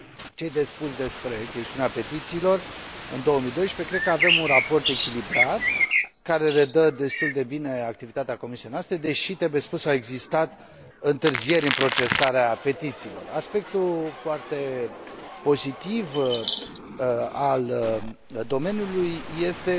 Ce i de spus despre chestiunea petițiilor în 2012 cred că avem un raport echilibrat, care redă destul de bine activitatea comisiei noastre, deși, trebuie spus, au existat întârzieri în procesarea petițiilor. Aspectul foarte pozitiv al domeniului este